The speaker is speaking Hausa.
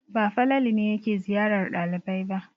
Ba Falalu ne yake ziyarar ɗalibai ba.